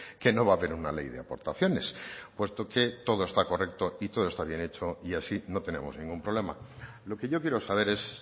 que no va a haber una ley de aportaciones puesto que todo está correcto y todo está bien hecho y así no tenemos ningún problema lo que yo quiero saber es